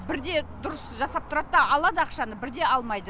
бірде дұрыс жасап тұрады да алады ақшаны бірде алмайды